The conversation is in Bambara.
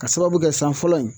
K'a sababu kɛ san fɔlɔ in